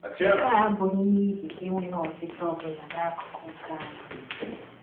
Nke a abụghị n’ihi enweghị ọchịchọ ọ bụla n’akụkụ nke anyị.